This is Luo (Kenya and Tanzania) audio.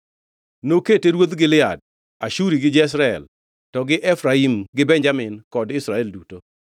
Nokete ruodh Gilead, Ashuri gi Jezreel, to gi Efraim gi Benjamin kod Israel duto.